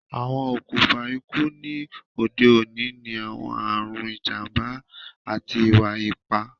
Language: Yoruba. Awọn okunfa iku ni ode oni ni awọn arun, ijamba, ati iwa-ipa